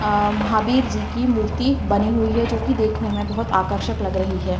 अ महावीर जी की मूर्ति बनी हुई है जो की देखने में बहुत आकर्षक लग रही है।